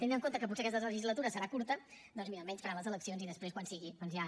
tenint en compte que potser aquesta legislatura serà curta doncs mira almenys faran les eleccions i després quan sigui ja